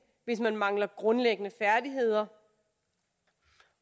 hvis man mangler grundlæggende færdigheder